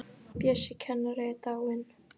Bjössi kennari er dáinn.